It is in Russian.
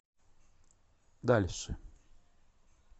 дальше